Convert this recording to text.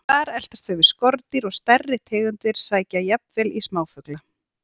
Þar eltast þau við skordýr og stærri tegundir sækja jafnvel í smáfugla.